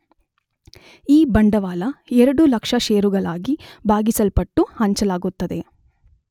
ಈ ಬಂಡವಾಳ 2 ಲಕ್ಷ ಷೇರುಗಳಾಗಿ ಭಾಗಿಸಲ್ಪಟ್ಟು ಹಂಚಲಾಗುತ್ತದೆ